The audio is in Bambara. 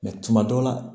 tuma dɔ la